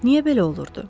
Niyə belə olurdu?